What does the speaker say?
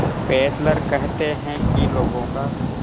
Fessler कहते हैं कि लोगों का